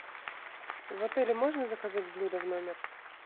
в отеле можно заказать блюда в номер